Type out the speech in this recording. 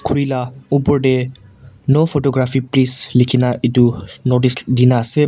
khuri la opor deh no photography please likhina itu notice dina ase.